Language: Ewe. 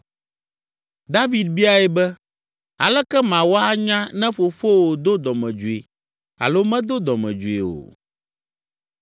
David biae be, “Aleke mawɔ anya ne fofowò do dɔmedzoe alo medo dɔmedzoe o?”